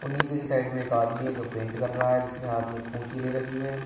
और नीचे साइड में एक आदमी है जो पेंट कर रहा है जिसने हाथ में कूंची ले रखी है।